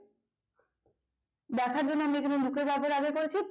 দেখার জন্য আমরা এখানে look এর ব্যবহার আগে করেছি